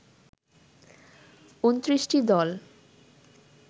২৯টি দল